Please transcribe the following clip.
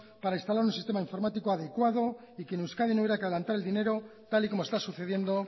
para instalar un sistema informático adecuado y que en euskadi no hubiera que adelantar el dinero tal y como está sucediendo